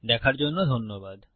দেখার জন্য ধন্যবাদ